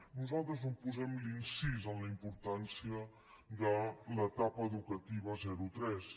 nosaltres és on posem l’incís en la importància de l’etapa educativa zero tres